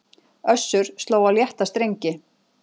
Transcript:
Össur sló á létta strengi